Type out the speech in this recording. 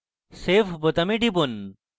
তারপর save বোতামে টিপুন